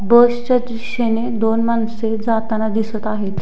बसच्या दिशेने दोन माणसे जाताना दिसत आहेत.